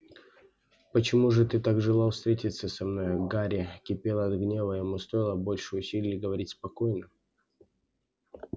почему же ты так желал встретиться со мной гарри кипел от гнева и ему стоило больших усилий говорить спокойно